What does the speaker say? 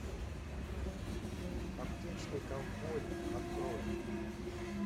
аптечный ковбой открой